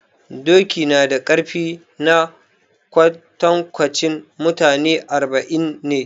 Doki nada ƙarfi na kwantankwanci mutane arba'in ne